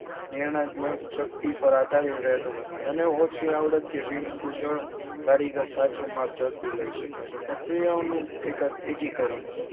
પ્રેરણાત્મક શક્તિ પાર આધારે રહેતા નથી અને ઓછી આવડત કે કારીગર સાથેમાપ જાત થી લાય શકે છે પ્રક્રિયાઓનું એતિકારણ